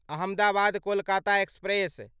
Ahmedabad Kolkata express